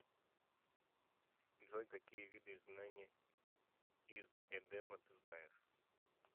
джой какие виды изгнание из эдема ты знаешь